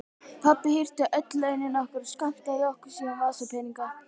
Pabbi hirti öll launin okkar og skammtaði okkur síðan vasapeninga.